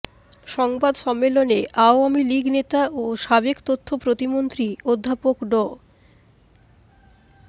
সংবাদ সম্মেলনে আওয়ামী লীগ নেতা ও সাবেক তথ্য প্রতিমন্ত্রী অধ্যাপক ড